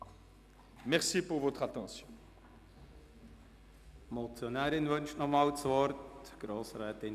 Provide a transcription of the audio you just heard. Die Motionärin, Grossrätin Zybach, wünscht nochmals das Wort.